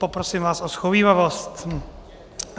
Poprosím vás o shovívavost.